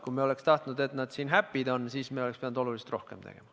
Kui me oleks tahtnud, et nad happy'd on, siis me oleks pidanud oluliselt rohkem tegema.